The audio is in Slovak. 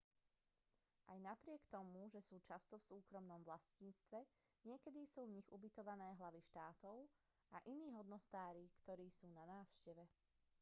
aj napriek tomu že sú často v súkromnom vlastníctve niekedy sú v nich ubytované hlavy štátov a iní hodnostári ktorí sú na návšteve